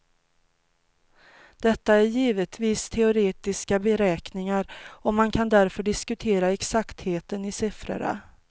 Detta är givetvis teoretiska beräkningar och man kan därför diskutera exaktheten i sifforna.